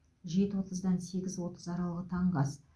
жеті отыздан сегіз отыз аралығы таңғы ас